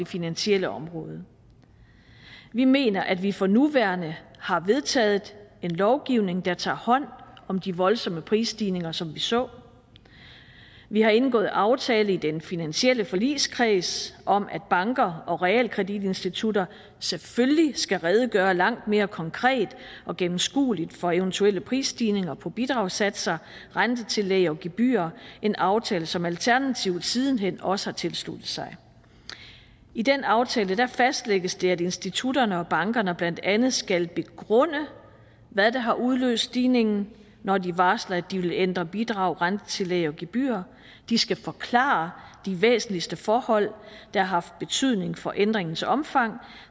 finansielle område vi mener at vi for nuværende har vedtaget en lovgivning der tager hånd om de voldsomme prisstigninger som vi så vi har indgået aftale i den finansielle forligskreds om at banker og realkreditinstitutter selvfølgelig skal redegøre langt mere konkret og gennemskueligt for eventuelle prisstigninger på bidragssatser rentetillæg og gebyrer en aftale som alternativet siden hen også har tilsluttet sig i den aftale fastlægges det at institutterne og bankerne blandt andet skal begrunde hvad der har udløst stigningen når de varsler at de vil ændre bidrag rentetillæg og gebyrer de skal forklare de væsentligste forhold der har haft betydning for ændringens omfang